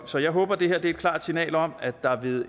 så jeg håber det her er et klart signal om at der ved